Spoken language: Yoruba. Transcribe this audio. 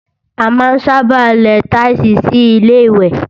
A máa ń sábà lẹ táílsìì sí Ilé-ìwẹ̀